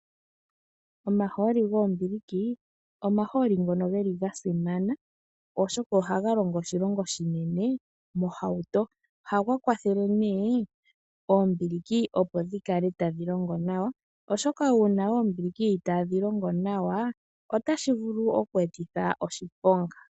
Omaholi gombiliki omaholi ngono geli gasimana oshoka ohaga longo oshilonga oshinene mohauto, ohaga kwathele nee ombiliki opo thikale tadhi longo nawa oshoka uuna ombili itadhi longo nawa tashi vulu okwetitha oshiponga.